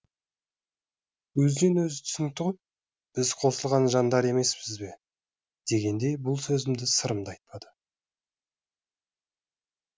өзінен өзі түсінікті ғой біз қосылған жандар емеспіз бе дегендей бұл сөзді сырым да айтпады